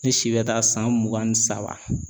Ne si bɛ taa san mugan ni saba.